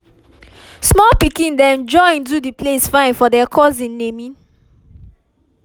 small pikin dem join do the place fine for der cousin naming